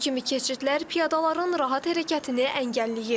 Bu kimi keçidlər piyadaların rahat hərəkətini əngəlləyir.